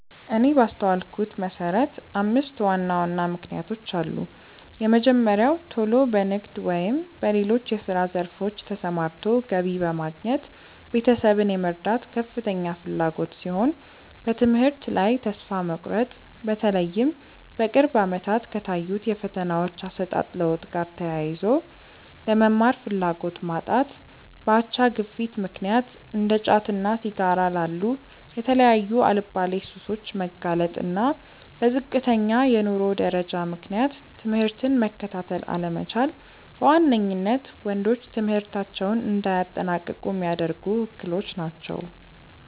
እኔ ባስተዋልኩት መሰረት አምስት ዋና ዋና ምክንያቶች አሉ። የመጀመሪያው ቶሎ በንግድ ወይም በሌሎች የስራ ዘርፎች ተሰማርቶ ገቢ በማግኘት ቤተሰብን የመርዳት ከፍተኛ ፍላጎት ሲሆን፤ በትምህርት ላይ ተስፋ መቁረጥ(በተለይም በቅርብ አመታት ከታዩት የፈተናዎች አሰጣጥ ለውጥ ጋር ተያይዞ)፣ ለመማር ፍላጎት ማጣት፣ በአቻ ግፊት ምክንያት እንደ ጫትና ሲጋራ ላሉ የተለያዩ አልባሌ ሱሶች መጋለጥ፣ እና በዝቅተኛ የኑሮ ደረጃ ምክንያት ትምህርትን መከታተል አለመቻል በዋነኝነት ወንዶች ትምህርታቸውን እንዳያጠናቅቁ ሚያደርጉ እክሎች ናቸው።